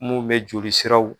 Mun bɛ joli siraw.